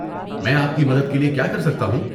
میں آپ کی مدد کے لیے کیا کر سکتا ہوں؟